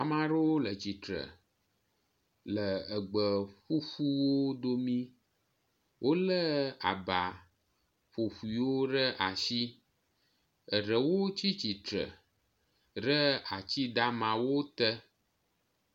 amaɖoó le tsitsre le egbe ƒúƒuwo domi wóle aba ƒoƒuiwo ɖe asi eɖewo tsítsìtsre ɖe atsi damawo te